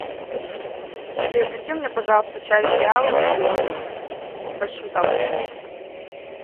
приобрети мне пожалуйста чай пиала зеленый большую самую упаковку